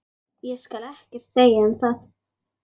Ég skal ekkert segja um það.